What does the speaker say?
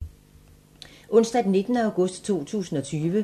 Onsdag d. 19. august 2020